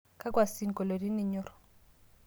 Kakua sinkolioitin inyorr?